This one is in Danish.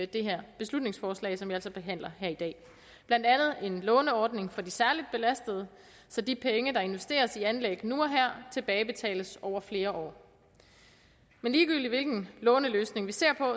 det her beslutningsforslag som vi altså behandler nu i dag blandt andet en låneordning for de særligt belastede så de penge der investeres i anlæg nu og her tilbagebetales over flere år men ligegyldigt hvilken låneløsning vi ser på